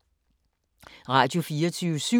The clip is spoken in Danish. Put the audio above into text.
Radio24syv